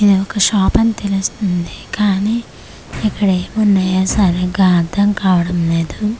ఇది ఒక షాపని తెలుస్తుంది కానీ ఇక్కడ ఏమున్నాయో సరిగా అర్థంకావడం లేదు.